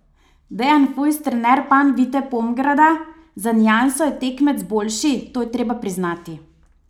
Dejan Fujs, trener Panvite Pomgrada: "Za nianso je tekmec boljši, to je treba priznati.